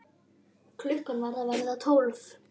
Klukkan var að verða tólf.